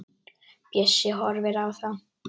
Bjössi horfir á þá.